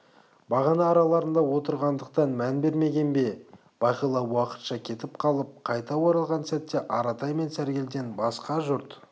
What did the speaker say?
бағана араларында отырғандықтан мән бермеген бе бағила уақытша кетіп қалып қайта оралған сәтте аратай мен сәргелден басқа жұрт